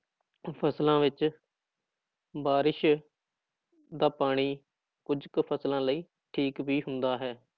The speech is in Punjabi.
ਫ਼ਸਲਾਂ ਵਿੱਚ ਬਾਰਿਸ਼ ਦਾ ਪਾਣੀ ਕੁੱਝ ਕੁ ਫ਼ਸਲਾਂ ਲਈ ਠੀਕ ਵੀ ਹੁੰਦਾ ਹੈ।